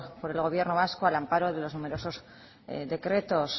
por el gobierno vasco al amparo de los numerosos decretos